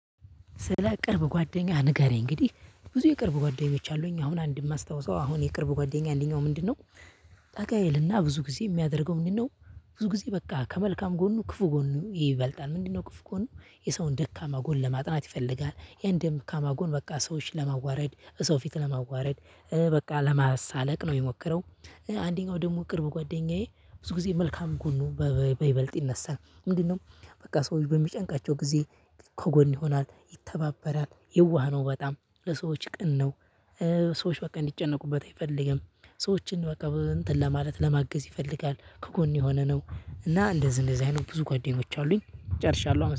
ስለ ቅርብ ጓደኛህ ንገረኝ? እንግዲህ ብዙ የቅርብ ጓደኞች አሉኝ አሁን አንድ የማስታውሰው አሁን የቅርብ ጓደኛ አለኝ አሁን ምንድነው ጠጋ ይልና ብዙ ጊዜ የሚያደርገው ምንድነው? ብዙ ጊዜ በቃ ከመልካም ጎኑ ክፉ ጎኑ ይበልጣል ምንድነው ክፉ ጎን የሰውን ደካማ ጎን ለማጥናት ይፈልጋል ያን ደካማ ጎን በቃ ሰዎችን ለማዋረድ ሰው ፊት ለማዋረድ በቃ ለማሳለቅ ነው የሚሞክረው። አንደኛው ደግሞ ቅርብ ጓደኛዬ ብዙ ጊዜ መልካም ጎኑ በይበልጥ ይነሳል። ምንድነው? በቃ ሰዎች በሚጨንቃቸው ጊዜ ከጎን ይሆናል ይተባበራል የዋህ ነው በጣም ለሰዎች ቅን ነው። ሰዎች በቃ እንዲጨነቁበት አይፈልግም። ሰዎችን በቃ በእንትን ለማለት ለማገዝ ይፈልጋል ከጎን የሆነ ነው። እና እንደዚህ እንደዚህ አይነት ብዙ ጓደኞች አሉኝ ጨርሻለሁ አመሰ